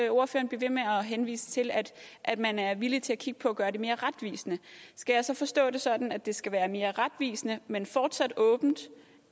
henvise til at man er villig til at kigge på at gøre det mere retvisende skal jeg så forstå det sådan at det skal være mere retvisende men fortsat åbent